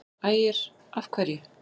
Ægir: Af hverju?